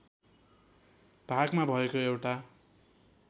भागमा भएको एउटा